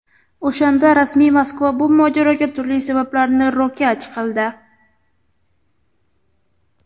O‘shanda rasmiy Moskva bu mojaroga turli sabablarni ro‘kach qildi.